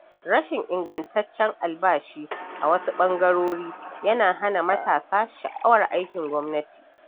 Rashin ingantaccen albashi a wasu ɓangarori yana hana matasa sha’awar aikin gwamnati.